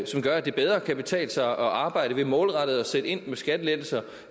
som gør at det bedre kan betale sig at arbejde ved målrettet at sætte ind med skattelettelser